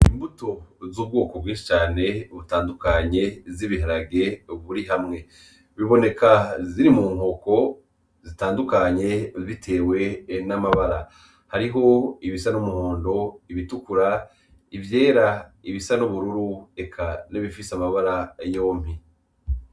Imbuto z’ubwoko bwinshi cane butandukanye z’Ibiharage buri hamwe, buboneka ziri munkoko zitandukanye bitewe namabara hariho ibisa numuhondo, ibitukura, ivyera ibisa nubururu eka nibifise amabara yompi.